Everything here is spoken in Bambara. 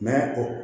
N'a o